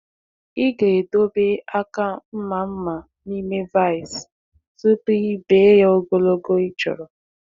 Ị ga-edobe aka mma mma n’ime vice tupu i bee ya ogologo ịchọrọ.